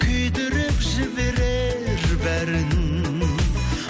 күйдіріп жіберер бәрін